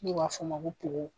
N'u b'a fɔ o ma ko poo.